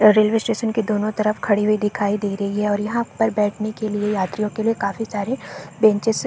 Railway station के दोनों तरफ खड़ी हुई दिखाई दे रही है और यहाँ पर बैठने के लिए यात्रियों के लिए काफी सारे बेचेस है।